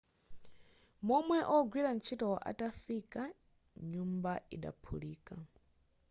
momwe wogwira ntchitoyo atafika nyumbayo idaphulika